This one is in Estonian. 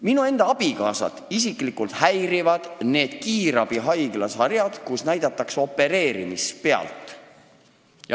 Minu enda abikaasat häirib isiklikult see "Kiirabihaigla" sari, kus näidatakse opereerimist.